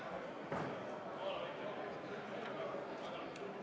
Head Riigikogu liikmed, vaheaeg on lõppenud.